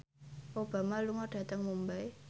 Obama lunga dhateng Mumbai